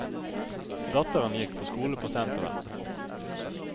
Datteren gikk på skole på senteret.